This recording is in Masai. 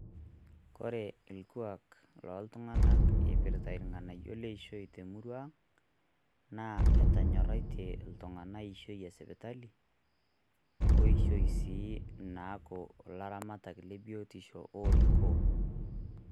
Kore lkuak loo ltung'anak eipirta ilng'anayio le ishoi te murrua ang naa atonyorratie ltung'ana ishoi e sipitali, o ishoi sii naaku laaramatak le biotisho orikoo.